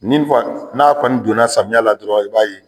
Ni n fɔ n'a kɔni donna samiya la dɔrɔn i b'a ye